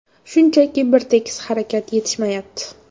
Shunchaki bir tekis harakat yetishmayapti.